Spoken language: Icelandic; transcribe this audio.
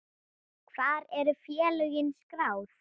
Hvar eru félögin skráð?